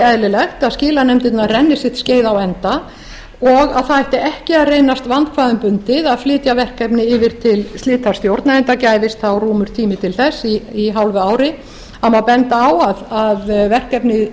eðlilegt að skilanefndirnar renni sitt skeið á enda og það ætti ekki að reynast vandkvæðum bundið að flytja verkefni yfir til slitastjórna enda gæfist þá rúmur tími til þess í hálfu ári það má benda á að verkefni